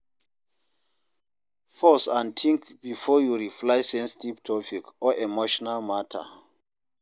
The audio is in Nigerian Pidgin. Pause and think before you reply sensitive topic or emotional matter